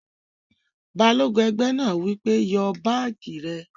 Balógun ẹgbẹ́ náà wí pé, "Yọ báàjì rẹ̀!"